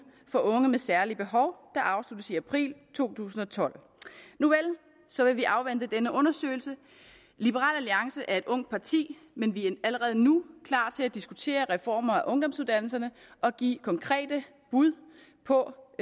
for unge med særlige behov der afsluttes i april to tusind og tolv nuvel så vil vi afvente denne undersøgelse liberal alliance er et ungt parti men vi er allerede nu klar til diskutere reformer af ungdomsuddannelserne og give konkrete bud på